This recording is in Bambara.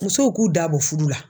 Musow k'u da bɔ fudu la.